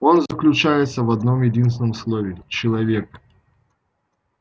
он заключается в одном-единственном слове человек